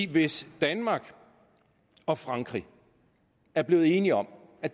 hvis danmark og frankrig er blevet enige om at